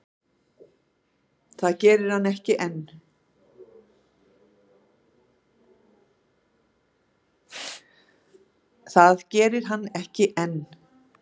Það geri hann ekki enn.